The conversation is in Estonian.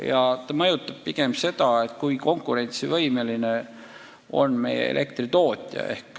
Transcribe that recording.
Ja see mõjutab pigem seda, kui konkurentsivõimeline on meie elektritootja.